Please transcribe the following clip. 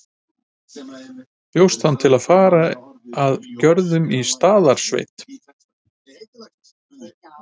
Bjóst hann til að fara inn að Görðum í Staðarsveit.